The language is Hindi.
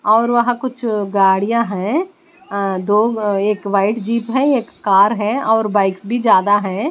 और वहाँ कुछ गाड़ियाँ हैं अं दो एक व्हाइट जीप है एक कार है और बाइक्स भी ज्यादा हैं।